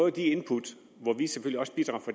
af de input